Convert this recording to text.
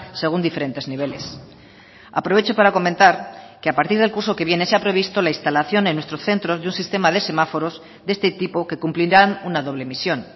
según diferentes niveles aprovecho para comentar que a partir del curso que viene se ha previsto la instalación en nuestros centros de un sistema de semáforos de este tipo que cumplirán una doble misión